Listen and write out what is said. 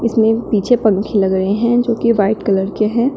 इसमें पीछे पंखे लग रहे हैं जो कि व्हाइट कलर के हैं।